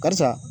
Barisa